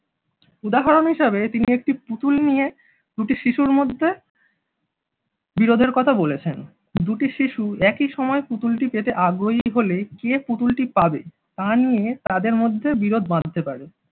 উদাহরণ হিসেবে তিনি একটি পুতুল নিয়ে দুটি শিশুর মধ্যে বিরোধের কথা বলেছেন দুটি শিশু একই সময় পুতুলটি পেতে আগ্রহী হলে কে পুতুলটি পাবে তা নিয়ে তাদের মধ্যে বিরোধ বাঁধতে পারে।